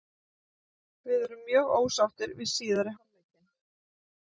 Við erum mjög ósáttir við síðari hálfleikinn.